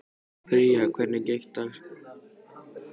Pría, hvernig er dagskráin í dag?